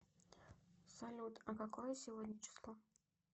салют а какое сегодня число